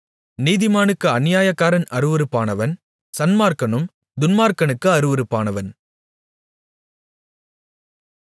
நீதிமானுக்கு அநியாயக்காரன் அருவருப்பானவன் சன்மார்க்கனும் துன்மார்க்கனுக்கு அருவருப்பானவன்